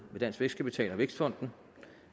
dansk vækstkapital og vækstfonden